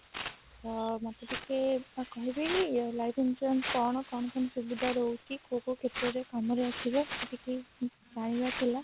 ଅ ମତେ ଟିକେ କହିବେକି life insurance କଣ କଣ କେମତି ସୁବିଧା ରହୁଛି କୋଉ କୋଉ କ୍ଷେତ୍ରରେ କାମରେ ଆସିବ ମତେ କିଛି ଜାଣିବାର ଥିଲା